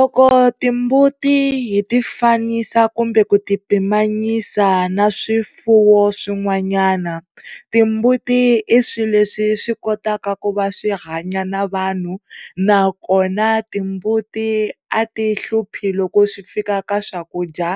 Loko timbuti hi ti fanisa kumbe ku ti pimanyisa na swifuwo swin'wananyana timbuti i swilo leswi swi kotaka ku va swihanya na vanhu na kona timbuti a ti hluphi loko swi fika ka swakudya